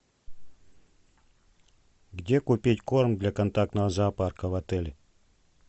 где купить корм для контактного зоопарка в отеле